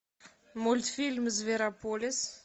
мультфильм зверополис